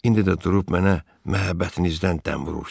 İndi də durub mənə məhəbbətinizdən dəm vurursuz.